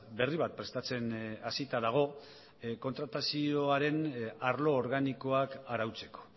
berri bat prestatzen hasita dago kontratazioaren arlo organikoak arautzeko